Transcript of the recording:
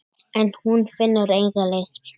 En hún finnur enga lykt.